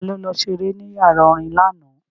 Ta ló lọ ṣeré ní yàrá orin lánàá?